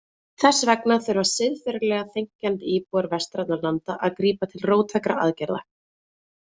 Þess vegna þurfa siðferðilega þenkjandi íbúar vestrænna landa að grípa til róttækra aðgerða.